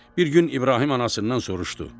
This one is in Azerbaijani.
Bir gün İbrahim anasından soruşdu.